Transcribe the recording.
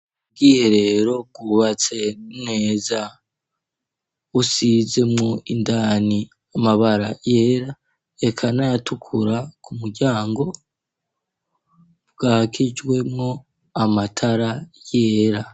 Ubwiherero bwubatse neza, busizemwo indani amabara yera eka n'ayatukura ku muryango, bwakijwemwo amatara yera.